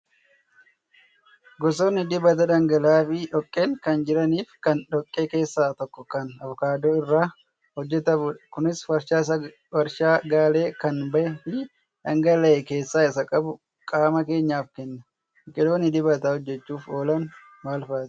Gosootni dibataa dhangala'aa fi dhoqqeen kan jiranii fi kan dhoqqee keessaa tokko kan avokaadoo irraa hojjatamudha. Kunis warshaa galee kan bahee fi dhangaalee keessa isaa qabu qaama keenyaaf kenna. Biqiloonni dibata hojjachuuf oolan maal fa'aati?